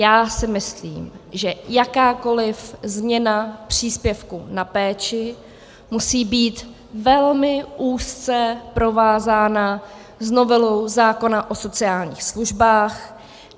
Já si myslím, že jakákoli změna příspěvku na péči musí být velmi úzce provázána s novelou zákona o sociálních službách.